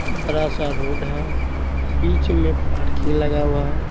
बड़ा सा रोड है बीच में पार्किंग लगा हुआ है।